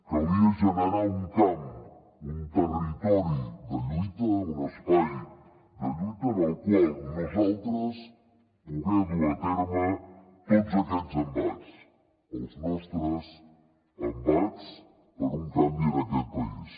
calia generar un camp un territori de lluita un espai de lluita en el qual nosaltres poder dur a terme tots aquests embats els nostres embats per un canvi en aquest país